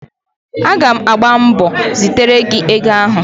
Aga m agba mbọ zitere gị ego ahụ